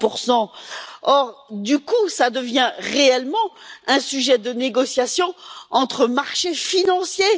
30 Or, du coup, cela devient réellement un sujet de négociation entre marchés financiers.